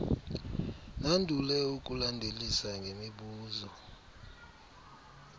nandule ukulandelisa ngemibuzo